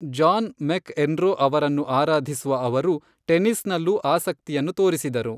John McEnroe ಅವರನ್ನು ಆರಾಧಿಸುವ ಅವರು ಟೆನಿಸ್ನಲ್ಲೂ ಆಸಕ್ತಿಯನ್ನು ತೋರಿಸಿದರು.